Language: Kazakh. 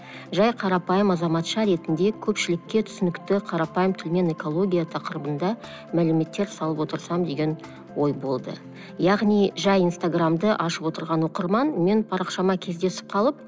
жай қарапайым азаматша ретінде көпшілікке түсінікті қарапайым тілмен экология тақырыбында мәліметтер салып отырсам деген ой болды яғни жай инстаграмды ашып отырған оқырман менің парақшама кездесіп қалып